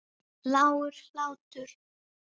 Lágur hlátur.